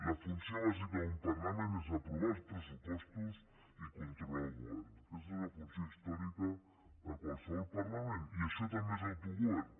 la funció bàsica d’un parlament és aprovar els pressupostos i controlar el govern aquesta és la funció històrica de qualsevol parlament i això també és autogovern